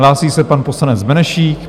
Hlásí se pan poslanec Benešík.